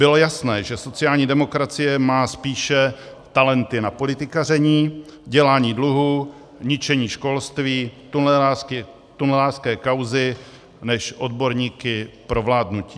Bylo jasné, že sociální demokracie má spíše talenty na politikaření, dělání dluhů, ničení školství, tunelářské kauzy než odborníky pro vládnutí.